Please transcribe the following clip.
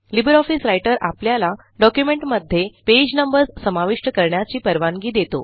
Libre office Writer आपल्याला डॉक्युमेंटमध्ये page numbers समाविष्ट करण्याची परवानगी देतो